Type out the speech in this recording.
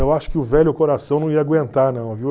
Eu acho que o velho coração não ia aguentar não, viu?